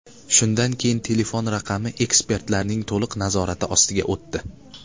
Shundan keyin telefon raqami ekspertlarning to‘liq nazorati ostiga o‘tdi.